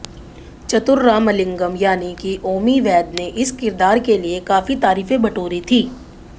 चतुर रामालिंगम यानि की ओमी वैद्य ने इस किरदार के लिए काफी तारीफें बटोरी थी